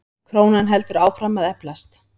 Krónan heldur áfram að eflast.